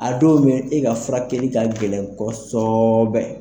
A dɔw mɛ e ka furakɛli ka gɛlɛn kɔsɔɔɔbɛ.